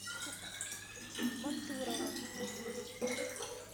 мантурово